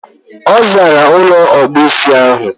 Ọ zaara ụlọ ọkpụisi ahụ.